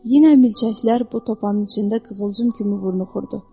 Yenə milçəklər bu topanın içində qıvılcım kimi vurnuxurdu.